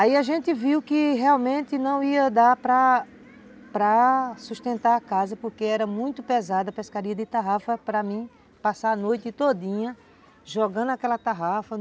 Aí a gente viu que realmente não ia dar para para sustentar a casa porque era muito pesada a pescaria de tarrafa para mim, passar a noite todinha jogando aquela tarrafa.